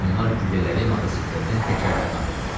Onlar güllələri motosikletin təkərlərinə atırdılar.